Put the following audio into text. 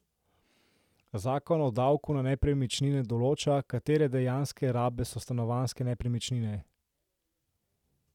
Zakon o davku na nepremičnine določa, katere dejanske rabe so stanovanjske nepremičnine.